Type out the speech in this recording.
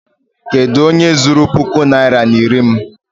Kedụ onye zuru puku naịra na iri m?